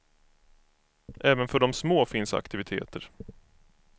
Även för de små finns aktiviteter.